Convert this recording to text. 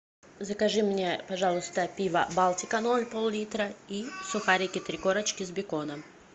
закажи мне пожалуйста пиво балтика ноль пол литра и сухарики три корочки с беконом